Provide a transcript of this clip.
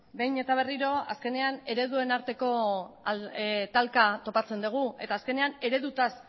behin eta berriro azkenean ereduen arteko talka topatzen degu eta azkenean eredutaz